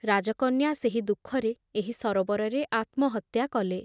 ରାଜକନ୍ୟା ସେହି ଦୁଃଖରେ ଏହି ସରୋବରରେ ଆତ୍ମହତ୍ୟା କଲେ ।